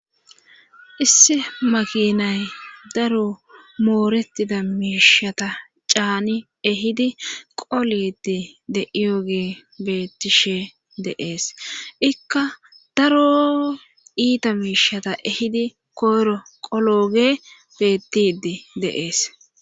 Issi makinay daro mooretida miishata caani ehidi qoliidi de7iyooge bettishe deees ikka daro iita miishata ehidi koyro qolooge bettiidi de7ees.